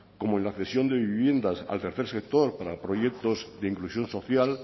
como en la cesión de viviendas al tercer sector para proyectos de inclusión social